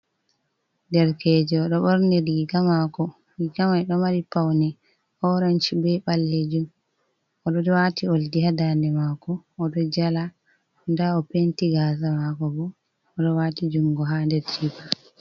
Derkejo ɗo ɓorni riga maako riga ɗo mari paune, orensh be ɓaleejum o ɗo waati oldi haa daande makko o ɗo jala nda o penti gaasa maako o ɗo waati jungo haa nder jiiba.